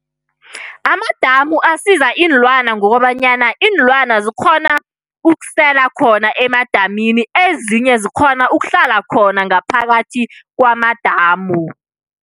Amadamu asiza iinlwana ngokobanyana iinlwana zikghona ukusela khona emadamini. Ezinye zikghona ukuhlala khona ngaphakathi kwamadamu.